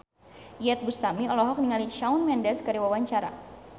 Iyeth Bustami olohok ningali Shawn Mendes keur diwawancara